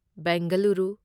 Bengaluru